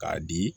K'a di